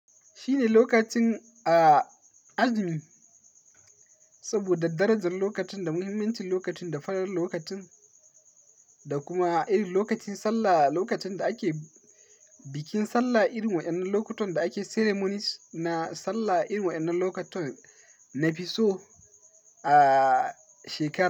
Shi ne lokacin a azumi saboda darajar lokacin da muhimmancin lokacin da falaar lokacin da kuma irin lokacin sallah, lokacin da ake bikin sallah, irin wa'yannan lokutan da ake ceremonies na sallah, irin waɗannan lokutan na fi so a shekara.